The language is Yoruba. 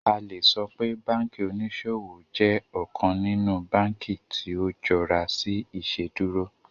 A le sọ pe banki oniṣowo jẹ ọkan ninu banki ti o jọra si Iṣeduro